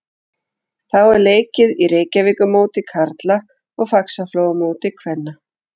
Þá er leikið í Reykjavíkurmóti karla og Faxaflóamóti kvenna.